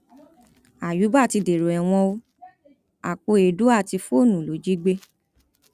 àyùbá ti dèrò ẹwọn o àpò èédú àti fóònù ló jí gbé